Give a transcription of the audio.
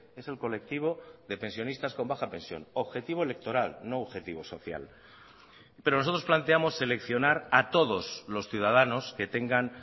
es el colectivo de pensionistas con baja pensión objetivo electoral no objetivo social pero nosotros planteamos seleccionar a todos los ciudadanos que tengan